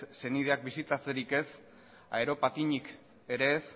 senideak bisitatzerik ez aeropatinik ere ez